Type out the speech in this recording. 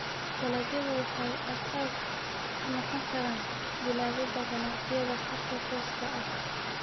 Dalagyadu waxay aasaas u noqon karaan bilaabida ganacsiyada khadka tooska ah.